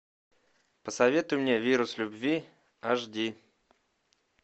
посоветуй мне вирус любви аш ди